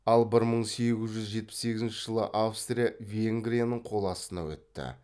ал бір мың сегіз жүз жетпіс сегізінші жылы австрия венгрияның қол астына өтті